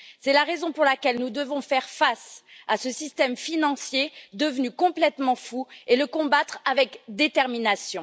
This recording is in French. C'est la raison pour laquelle nous devons faire face à ce système financier devenu complètement fou et le combattre avec détermination.